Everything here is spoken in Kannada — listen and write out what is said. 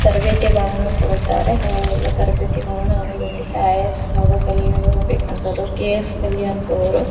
ತರಬೇತಿಗಳನ್ನು ಕೊಡುತ್ತಾರೆ ಹಾಗೆ ಎಲ್ಲ ತರಬೇತಿಗಳನ್ನು ಸಾದು ಕಲಿಯಲು ಬೇಕಾಗುವಂತಹ ಕೆ ಯಸ್ ಕಲಿವಂಥವರು--